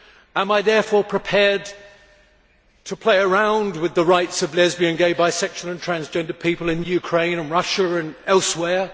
Am I therefore prepared to play around with the rights of lesbian, gay, bisexual and transgender people in Ukraine, Russia and elsewhere?